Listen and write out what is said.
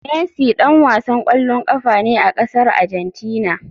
Messi dan wasan kwallon kafa ne a kasar Argentina.